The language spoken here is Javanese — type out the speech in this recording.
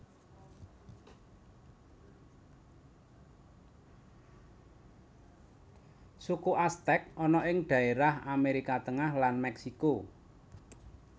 Suku Aztek ana ing dhaérah Amérika Tengah lan Mèksiko